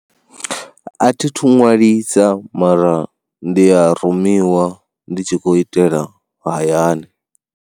A thi thu ṅwalisa mara ndi a rumiwa ndi tshi khou itela hayani.